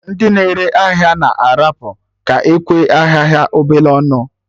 Ndị na-ere ahịa na arapụ ka ekwe ahịa ha obele ọnụ